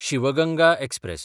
Shiv Ganga express